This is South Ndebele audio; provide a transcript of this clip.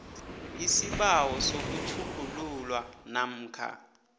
isibawo sokutjhugululwa namkha